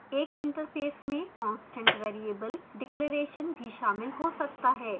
एक interface में constant variable declarations भी शामिल हो सकता है